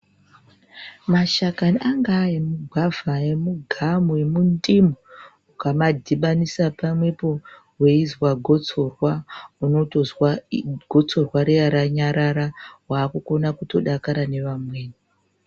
Mashakani anga e mugwavha emu gamu emu ndimu ukama dhibanisa pamwepo weizwa gotsorwa unotozwa gotsorwa riya ranyarara wakuto kona kudakara ne vamweni.